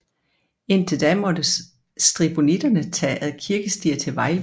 Indtil da måtte stribonitterne tage ad kirkestier til Vejlby